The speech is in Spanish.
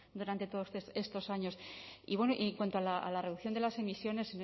durante todos estos años y en cuanto a la reducción de las emisiones